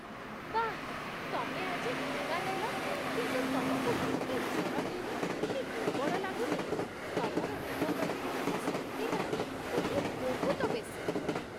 ବାଃ! ତମେ ଆଜି ଟିକା ନେଲ କିନ୍ତୁ ତମକୁ ମୋଟେ ଜ୍ୱର ହେଇନି କି ଦୁର୍ବଳ ଲାଗୁନି । ତମର ରୋଗପ୍ରତିରୋଧକ ଶକ୍ତିଟା ବୋଧେ ବହୁତ ବେଶି!